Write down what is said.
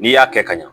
N'i y'a kɛ ka ɲa